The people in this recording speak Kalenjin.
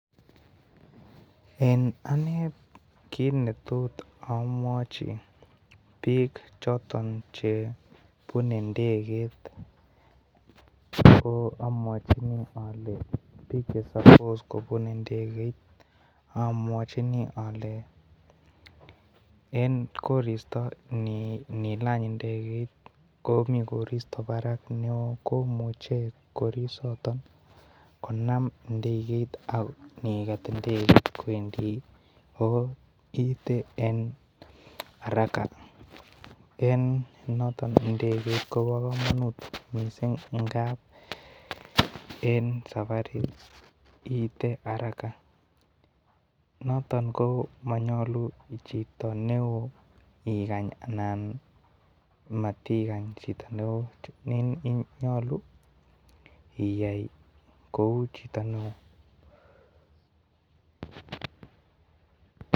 En Ane kit netot amwochi bik choton chebune ndegetko amwochini ale bik chesapos kobune ndeget amwochini en koristo nilany ndeget Komi koristo Barak neo komuche koristo konam ndeget ako night ndeget kwendi ko kit en araka en noton ndeget Kobo komonut mising en sabarit ite araka ko noton monyolu chuto neo igany Alan matigany Chito neo nyolu iyai kou Chito neo